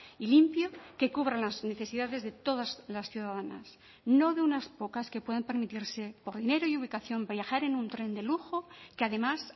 y limpio que cubran las necesidades de todas las ciudadanas no de unas pocas que pueden permitirse por dinero y ubicación viajar en un tren de lujo que además